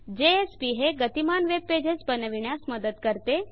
JSP हे गतिमान web pages बनविन्यास मदत करते